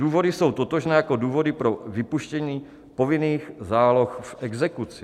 Důvody jsou totožné jako důvody pro vypuštění povinných záloh v exekuci.